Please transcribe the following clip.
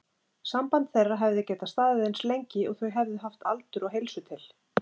Samband þeirra hefði getað staðið eins lengi og þau hefðu haft aldur og heilsu til.